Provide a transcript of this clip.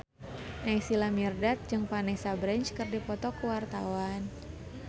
Naysila Mirdad jeung Vanessa Branch keur dipoto ku wartawan